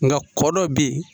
Nka kɔ dɔ bɛ yen